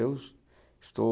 Eu estou...